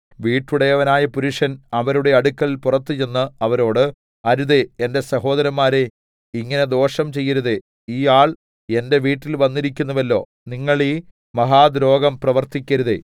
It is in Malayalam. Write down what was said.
വീട്ടുടയവനായ പുരുഷൻ അവരുടെ അടുക്കൽ പുറത്ത് ചെന്ന് അവരോട് അരുതേ എന്റെ സഹോദരന്മാരേ ഇങ്ങനെ ദോഷം ചെയ്യരുതേ ഈ ആൾ എന്റെ വീട്ടിൽ വന്നിരിക്കുന്നുവല്ലോ നിങ്ങൾ ഈ മഹാദ്രോഹം പ്രവർത്തിക്കരുതേ